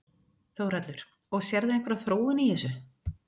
Þórhallur: Og sérðu einhverja þróun í þessu?